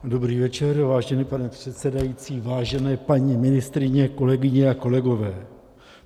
Dobrý večer, vážený pane předsedající, vážené paní ministryně, kolegyně a kolegové.